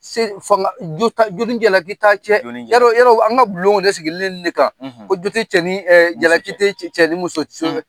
Se fanga jo t'a jo ni jaliki t'a cɛ jo ni yarɔ yarɔ an ka bulonw de sigilenlen de kan ko jo te e jalaki te cɛ ni muso cɛ